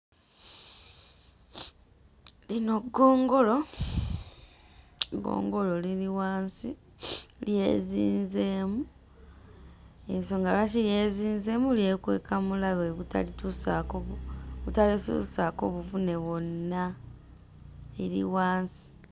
Lino ggongolo, ggongolo liri wansi lyezinzeemu ensonga lwaki lyezinzeemu lyekweka mulabe butalituusaako bu butalituusaako buvune bwonna liri wansi.